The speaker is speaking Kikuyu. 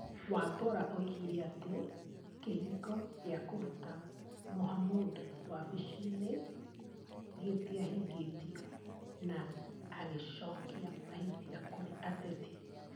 Wambora oigire atĩ, kĩhingo gĩa kũruta Mohamud wabici-inĩ gĩtiahingĩtio, na agĩcokia mahĩtia kũrĩ ateti.